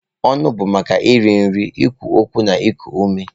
Ọnụ bụ maka iri nri, ikwu okwu na iku ume.